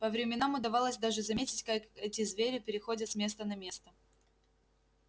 по временам удавалось даже заметить как эти звери переходят с места на место